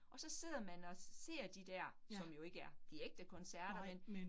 Og så sidder men og ser de der, som jo ikke er de ægte koncerter men